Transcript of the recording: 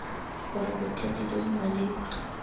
gore bothati jo bo maleba